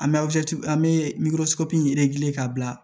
An bɛ an bɛ ka bila